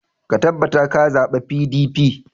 Ka tabbata ka zaɓa PDP!